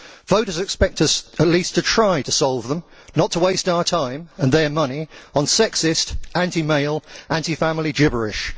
Voters expect us at least to try to solve them, not to waste our time and their money on sexist anti male, anti family gibberish.